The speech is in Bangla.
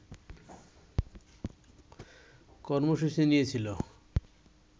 কর্মসূচি নিয়েছিল